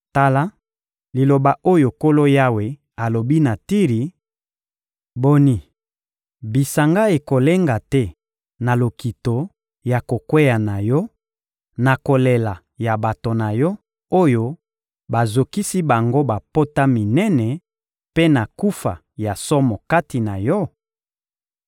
Tala liloba oyo Nkolo Yawe alobi na Tiri: Boni, bisanga ekolenga te na lokito ya kokweya na yo, na kolela ya bato na yo, oyo bazokisi bango bapota minene mpe na kufa ya somo kati na yo?